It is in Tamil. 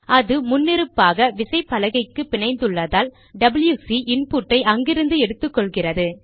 அது முன்னிருப்பாக விசைப்பலகைக்கு பிணைந்துள்ளதால் டபில்யுசி இன்புட்டை அங்கிருந்து எடுத்துக்கொள்கிறது